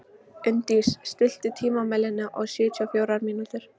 Unndís, stilltu tímamælinn á sjötíu og fjórar mínútur.